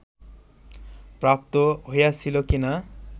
প্রাপ্ত হইয়াছিল কি না